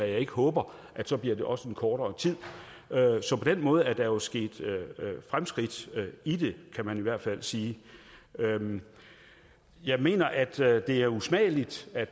jeg ikke håber så bliver det også en kortere tid så på den måde er der jo sket fremskridt i det kan man i hvert fald sige jeg mener at det er usmageligt at